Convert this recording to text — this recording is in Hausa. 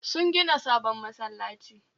Sun gina sabon masallaci